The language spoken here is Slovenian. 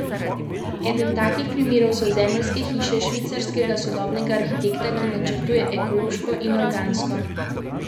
Eden takih primerov so zemeljske hiše švicarskega sodobnega arhitekta, ki načrtuje ekološko in organsko oblikovane hiše.